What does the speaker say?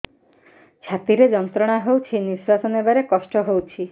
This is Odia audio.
ଛାତି ରେ ଯନ୍ତ୍ରଣା ହଉଛି ନିଶ୍ୱାସ ନେବାରେ କଷ୍ଟ ହଉଛି